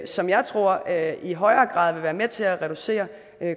som jeg tror i højere grad vil være med til at reducere